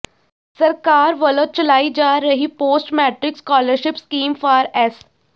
ਸਰਕਾਰ ਵੱਲੋਂ ਚਲਾਈ ਜਾ ਰਹੀ post matric scholarship scheme for S